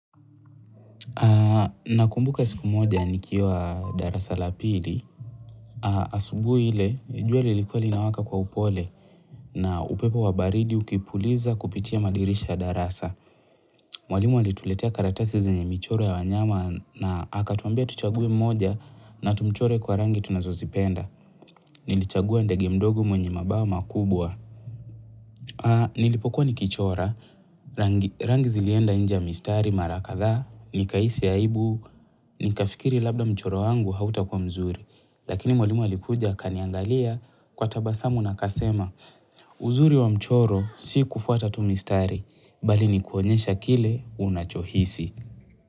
Na kumbuka siku moja nikiwa darasa la pili, asubuhi ile jua lilikuwa linawaka kwa upole na upepo wa baridi ukipuliza kupitia madirisha darasa. Mwalimu alituletea karatasi zenye michoro ya wanyama na aka tuambia tuchague mmoja na tumchore kwa rangi tunazozipenda. Nilichagua ndege mdogo mwenye mabama kubwa. A, nilipokuwa ni kichora, rangi zilienda inje mistari marakadhaa, nikahisi aibu, nikafikiri labda mchoro wangu hauta kuwa mzuri, lakini mwalimu alikuja akaniangalia kwa tabasamu na akasema, uzuri wa mchoro si kufuata tu mistari, bali nikuonyesha kile unachohisi.